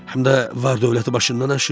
Həm də var-dövləti başından aşır.